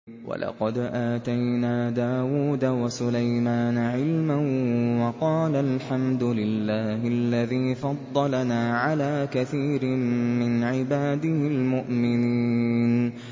وَلَقَدْ آتَيْنَا دَاوُودَ وَسُلَيْمَانَ عِلْمًا ۖ وَقَالَا الْحَمْدُ لِلَّهِ الَّذِي فَضَّلَنَا عَلَىٰ كَثِيرٍ مِّنْ عِبَادِهِ الْمُؤْمِنِينَ